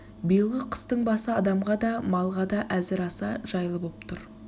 биылғы қыстың басы адамға да малға да әзір аса жайлы боп тұр